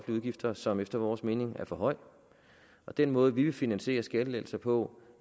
udgifter som efter vores mening er for høj den måde vi vil finansiere skattelettelser på